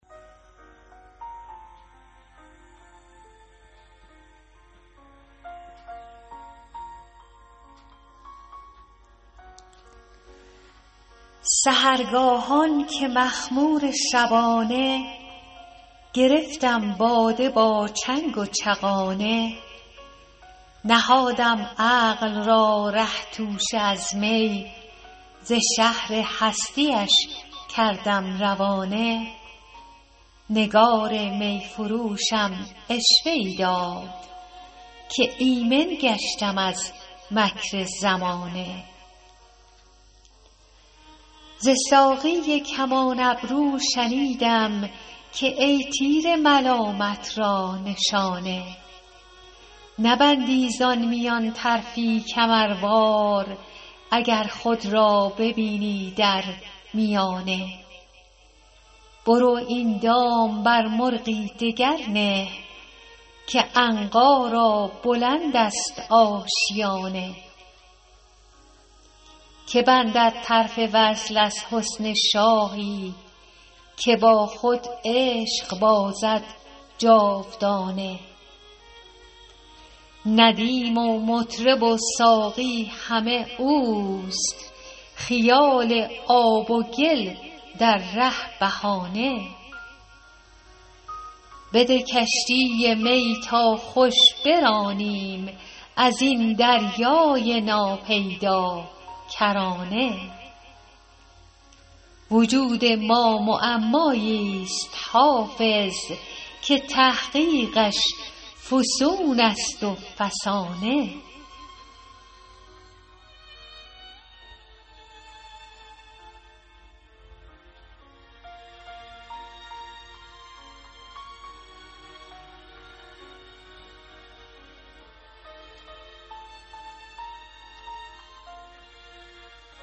سحرگاهان که مخمور شبانه گرفتم باده با چنگ و چغانه نهادم عقل را ره توشه از می ز شهر هستی اش کردم روانه نگار می فروشم عشوه ای داد که ایمن گشتم از مکر زمانه ز ساقی کمان ابرو شنیدم که ای تیر ملامت را نشانه نبندی زان میان طرفی کمروار اگر خود را ببینی در میانه برو این دام بر مرغی دگر نه که عنقا را بلند است آشیانه که بندد طرف وصل از حسن شاهی که با خود عشق بازد جاودانه ندیم و مطرب و ساقی همه اوست خیال آب و گل در ره بهانه بده کشتی می تا خوش برانیم از این دریای ناپیداکرانه وجود ما معمایی ست حافظ که تحقیقش فسون است و فسانه